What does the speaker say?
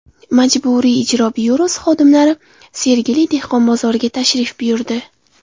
Majburiy ijro byurosi xodimlari Sergeli dehqon bozoriga tashrif buyurdi.